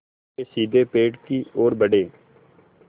वे सीधे पेड़ की ओर बढ़े